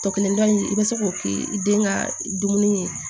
Tɔ kelen dɔn in i bɛ se k'o kɛ i den ka dumuni ye